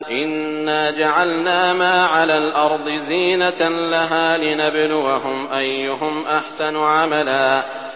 إِنَّا جَعَلْنَا مَا عَلَى الْأَرْضِ زِينَةً لَّهَا لِنَبْلُوَهُمْ أَيُّهُمْ أَحْسَنُ عَمَلًا